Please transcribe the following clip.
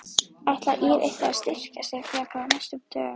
Ætlar ÍR eitthvað að styrkja sig frekar á næstu dögum?